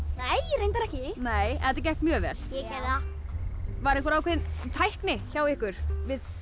reyndar ekki en þetta gekk mjög vel ég það var einhver ákveðin tækni hjá ykkur við